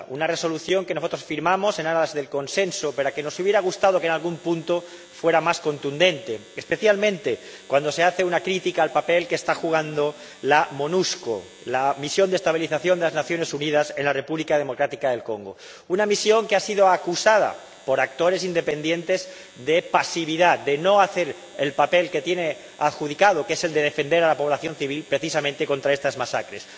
una Resolución que nosotros firmamos en aras del consenso, pero que nos hubiera gustado que en algún punto fuera más contundente, especialmente cuando se hace una crítica al papel que está jugando la Monusco —la Misión de Estabilización de las Naciones Unidas en la República Democrática del Congo—, una misión que ha sido acusada por actores independientes de pasividad, de no hacer el papel que tiene adjudicado, que es el de defender a la población civil precisamente contra estas masacres.